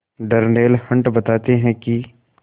Darnell Hunt बताते हैं कि